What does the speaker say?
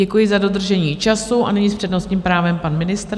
Děkuji za dodržení času a nyní s přednostním právem pan ministr.